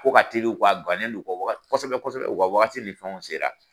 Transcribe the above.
Ko ka teli u kɔ a guwanen ne u kɔ waga kosɛbɛ kosɛbɛ u ka wagati ni fɛnw sera.